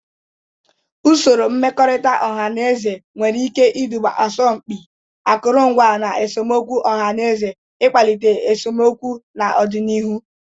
Usoro mmekọrịta ọha na eze nwere ike iduga asọmpi akụrụngwa, na esemokwu ọha na eze na-akpali esemokwu n'ọdịnihu.